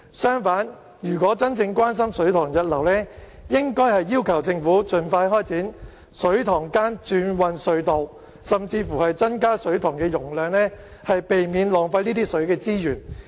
相反，如果真正關心水塘溢流，應該要求政府盡快開展水塘間轉運隧道計劃，甚至增加水塘容量，避免浪費水資源。